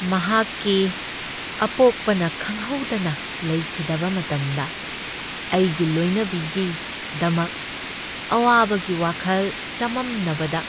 ꯃꯍꯥꯛꯀꯤ ꯑꯄꯣꯛꯄꯅ ꯈꯪꯍꯧꯗꯅ ꯂꯩꯈꯤꯗꯕ ꯃꯇꯝꯗ ꯑꯩꯒꯤ ꯂꯣꯏꯅꯕꯤꯒꯤꯗꯃꯛ ꯑꯋꯥꯕꯒꯤ ꯋꯥꯈꯜ ꯆꯃꯝꯅꯕꯗ